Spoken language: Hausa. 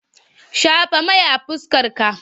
Shafa mai a fuskarka!